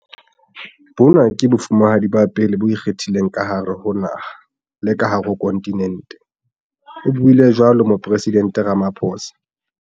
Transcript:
"Bona ke Bofumahadi ba pele bo ikgethileng ka hare ho naha le ka hare ho khonthinente," o buile jwalo Moporesidente Ramaphosa.